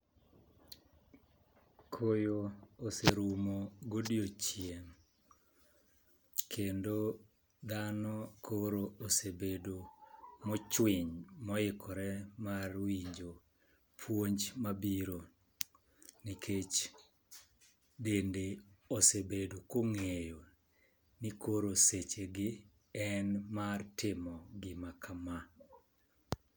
Koyo oserumo godiochieng' kendo dhano koro osebedo mochwiny, moikore mar winjo puonj mabiro nikech, bende osebedo kong'eyo ni koro seche gi en mar timo gima kama.